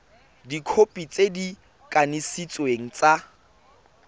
dikhopi tse di kanisitsweng tsa